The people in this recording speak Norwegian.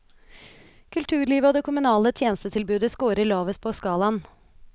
Kulturlivet og det kommunale tjenestetilbudet skårer lavest på skalaen.